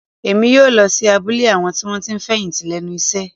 Èmi yóò lọ sí abúlé àwọn tí wọ́n ti fẹ̀yìntì lẹ́nu iṣẹ́